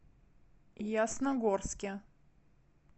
ясногорске